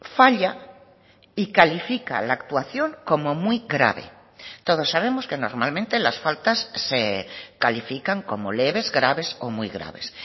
falla y califica la actuación como muy grave todos sabemos que normalmente las faltas se califican como leves graves o muy graves